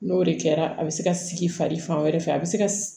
N'o de kɛra a bɛ se ka sigi fari fan wɛrɛ fɛ a bɛ se ka